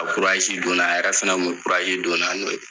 A bɛ kuraji don na, a yɛrɛ fɛnɛ kun be kuraji don na n'o ye.